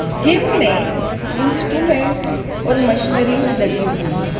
Gym में instrument और machineries लगी हुई है।